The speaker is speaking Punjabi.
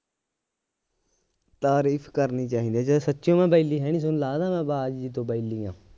ਤਾਰੀਫ ਕਰਨੀ ਚਾਹੀਦੀ ਏ ਜੇ ਸੱਚੀਉਂ ਮੈ ਬੈਲੀ ਹੈ ਨਹੀਂ ਤੁਹਾਨੂੰ ਲੱਗਦਾ ਮੈ ਆਵਾਜ ਜਿਹੀ ਤੋਂ ਬੈਲੀ ਆਂ